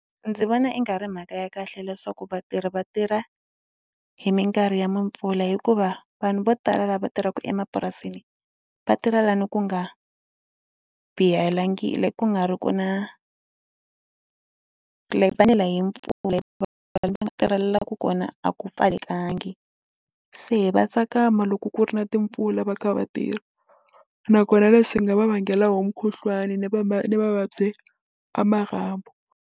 Ndzi vona i nga ri mhaka ya kahle leswaku vatirhi va tirha hi minkarhi ya mimpfula hikuva vanhu vo tala lava tirhaka emapurasini va tirha la ni ku nga ku nga ri ku na va nela hi mpfula va tirhelaku kona a ku pfalekangi se va tsakama loko ku ri na timpfula va kha va tirha nakona leswi swi nga va vangela wo mukhuhlwani ni va ma ni mavabyi a marhambu.